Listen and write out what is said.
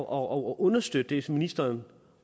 og understøtte det som ministeren